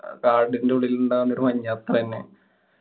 കാടിന്‍റെ ഉള്ളിലുണ്ടാവുന്നൊരു മഞ്ഞ്. അത്രന്നെ